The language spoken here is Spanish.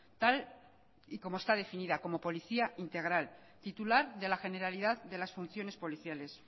tal y como esta definida como policía integral titular de la generalidad de las funciones policiales